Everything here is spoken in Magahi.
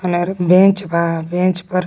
बेंच बा बेंच पर--